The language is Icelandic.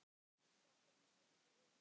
Svo fimm sinnum í viku.